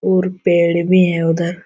और पेड़ भी हैं उधर।